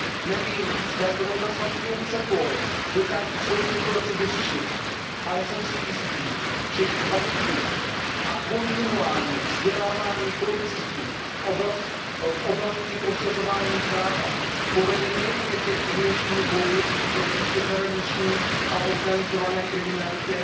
Nevím, zda zrovna samotný Cepol dokáže celou situaci vyřešit, ale jsem si jistý, že kvalitní a kontinuální vzdělávání policistů v oblasti prosazování práva povede nejen k efektivnějšímu boji proti přeshraniční a organizované kriminalitě,